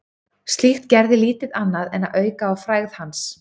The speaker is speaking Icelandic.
Slíkt gerði lítið annað en að auka á frægð hans.